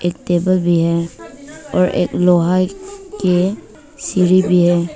एक टेबल भी है और एक लोहा के सीढ़ी भी है।